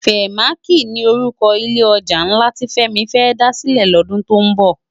Fèmáki ni órúkò ilé òjá nlá ti Femi fè dá silè lòdún tó nbò